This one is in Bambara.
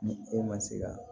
Ni e ma se ka